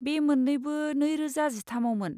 बे मोन्नैबो नैरोजा जिथामआवमोन।